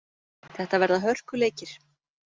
Þetta verða hörkuleikir.